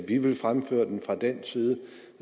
vi vil fremføre den fra dansk side